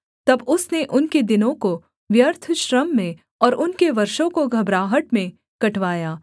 तब उसने उनके दिनों को व्यर्थ श्रम में और उनके वर्षों को घबराहट में कटवाया